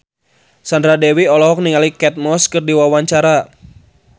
Sandra Dewi olohok ningali Kate Moss keur diwawancara